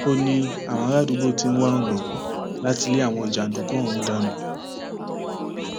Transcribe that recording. ó ní àwọn àràádúgbò ti ń wá ọnà láti lé àwọn jàǹdùkú ọhún dànù